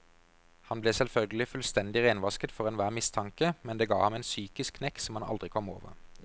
Han ble selvfølgelig fullstendig renvasket for enhver mistanke, men det ga ham en psykisk knekk som han aldri kom over.